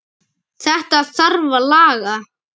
Þetta þarf að laga.